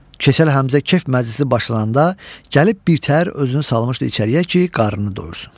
Keçəl Həmzə Kef məclisi başlananda gəlib birtəhər özünü salmışdı içəriyə ki, qarnı doysun.